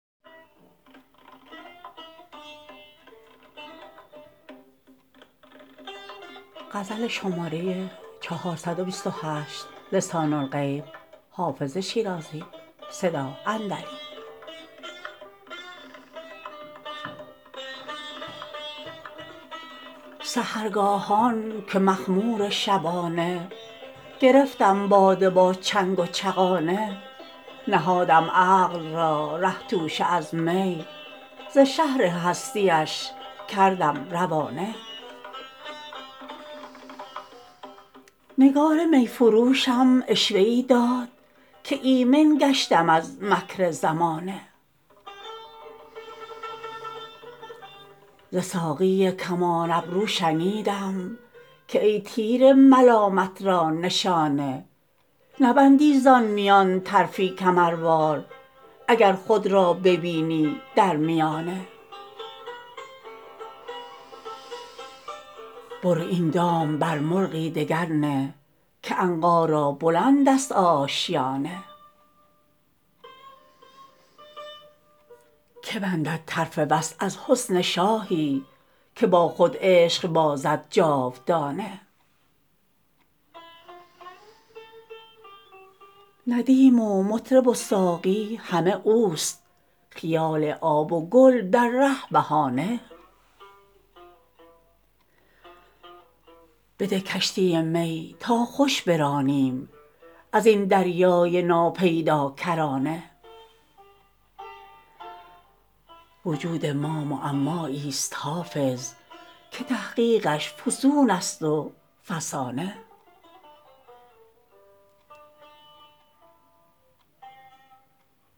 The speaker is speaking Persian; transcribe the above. سحرگاهان که مخمور شبانه گرفتم باده با چنگ و چغانه نهادم عقل را ره توشه از می ز شهر هستی اش کردم روانه نگار می فروشم عشوه ای داد که ایمن گشتم از مکر زمانه ز ساقی کمان ابرو شنیدم که ای تیر ملامت را نشانه نبندی زان میان طرفی کمروار اگر خود را ببینی در میانه برو این دام بر مرغی دگر نه که عنقا را بلند است آشیانه که بندد طرف وصل از حسن شاهی که با خود عشق بازد جاودانه ندیم و مطرب و ساقی همه اوست خیال آب و گل در ره بهانه بده کشتی می تا خوش برانیم از این دریای ناپیداکرانه وجود ما معمایی ست حافظ که تحقیقش فسون است و فسانه